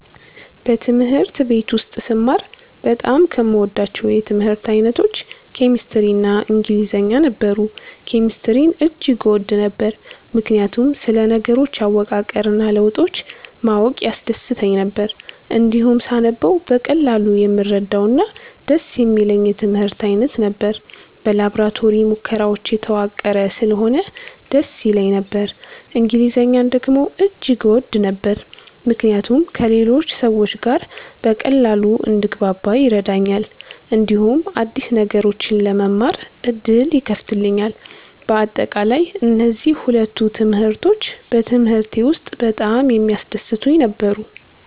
በትምህርት ቤት ውስጥ ስማር በጣም ከምወዳቸው የትምህርት አይነቶች ኬሚስትሪ እና ኢንግሊዝኛ ነበሩ። ኬሚስትሪን እጅግ እወድ ነበር፣ ምክንያቱም ስለ ነገሮች አወቃቀር እና ለውጦች ማወቅ ያስደስተኝ ነበር። እንዲሁም ሳነበው በቀላሉ የምረዳውና ደስ የሚለኝ የትምህርት አይነት ነበር። በላቦራቶሪ ሙከራዎች የተዋቀረ ስለሆነ ደስ ይለኝ ነበር። እንግሊዝኛን ደግሞ እጅግ እወድ ነበር፣ ምክንያቱም ከሌሎች ሰዎች ጋር በቀላሉ እንድግባባ ይረዳኛል፣ እንዲሁም አዲስ ነገሮችን ለመማር ዕድል ይከፍትልኛል። በአጠቃላይ፣ እነዚህ ሁለቱ ትምህርቶች በትምህርቴ ውስጥ በጣም የሚያስደስቱኝ ነበሩ።